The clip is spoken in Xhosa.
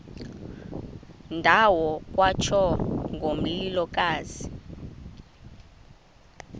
ndawo kwatsho ngomlilokazi